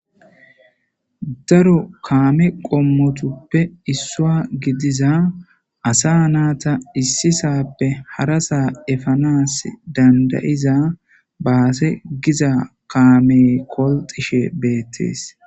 daro kaame qommotuppe issua gidiza asa naata issisappe harasaa efanas dandayiza baase giza kaame kolxishe beettees